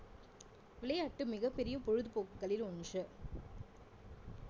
விளையாட்டு மிகப்பெரிய பொழுதுபோக்குகளில் ஒன்று